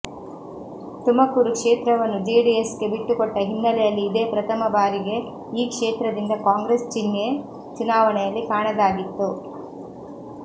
ತುಮಕೂರು ಕ್ಷೇತ್ರವನ್ನು ಜೆಡಿಎಸ್ಗೆ ಬಿಟ್ಟುಕೊಟ್ಟ ಹಿನ್ನೆಲೆಯಲ್ಲಿ ಇದೇ ಪ್ರಥಮ ಬಾರಿಗೆ ಈ ಕ್ಷೇತ್ರದಿಂದ ಕಾಂಗ್ರೆಸ್ ಚಿನ್ಹೆ ಚುನಾವಣೆಯಲ್ಲಿ ಕಾಣದಾಗಿತ್ತು